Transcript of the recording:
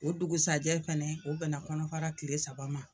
O dugusajɛ fɛnɛ, o bɛn na kɔnɔfara kile saba ma.